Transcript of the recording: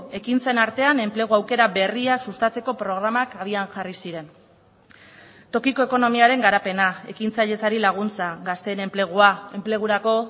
ekintzen artean enplegu aukera berriak sustatzeko programak abian jarri ziren tokiko ekonomiaren garapena ekintzailetzari laguntza gazteen enplegua enplegurako